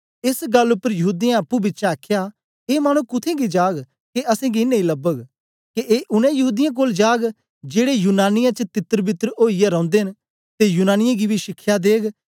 एस गल्ल पर यहूदीयें अप्पुंपिछें आखया ए मानु कुत्थें गी जाग के ऐ असेंगी नेई लबग के ए उनै यहूदीयें कोल जाग जेड़े यूनानियें च तितर बितर ओईयै रौंदे न ते यूनानियें गी बी शिखया देग